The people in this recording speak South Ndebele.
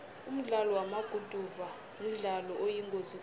umdlalo wamaguduva mdlalo oyingozi khulu